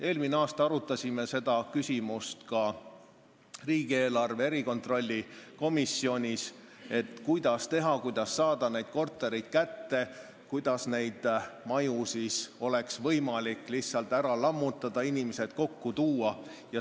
Eelmine aasta arutasime ka riigieelarve kontrolli erikomisjonis seda küsimust, kuidas saada neid kortereid kätte, et osa maju oleks võimalik lihtsalt ära lammutada ja inimesed ühte majja kokku tuua.